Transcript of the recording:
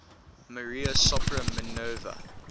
maria sopra minerva